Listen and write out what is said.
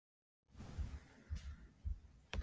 Mennirnir lofuðu að byrja að vinna að þessu í gær.